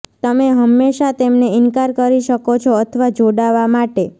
તમે હંમેશા તેમને ઇનકાર કરી શકો છો અથવા જોડાવા માટે